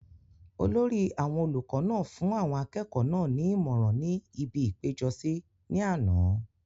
olórí àwọn olùkọ náà fún àwọn akẹ́kọ̀ọ́ náà ní ìmọ̀ràn ní ibi ìpéjọsí ní àná